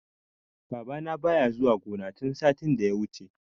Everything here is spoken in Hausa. Babana baya zuwa gona tun satin da ya wuce.